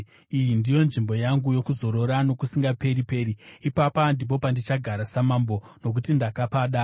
“Iyi ndiyo nzvimbo yangu yokuzorora nokusingaperi-peri; ipapa ndipo pandichagara samambo, nokuti ndakapada,